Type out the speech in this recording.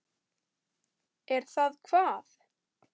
Er það hvað.